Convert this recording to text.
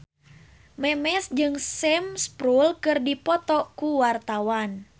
Memes jeung Sam Spruell keur dipoto ku wartawan